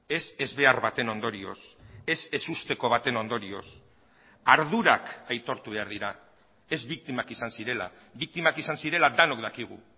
ez ezbehar baten ondorioz ez ezusteko baten ondorioz ardurak aitortu behar dira ez biktimak izan zirela biktimak izan zirela denok dakigu